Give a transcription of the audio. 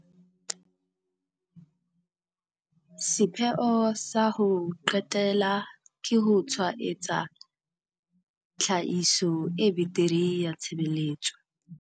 Sepheo sa ho qetela ke ho tshwaetsa tlhahiso e betere ya tshebeletso.